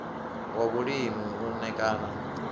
wa vhulimi u ṋ ekana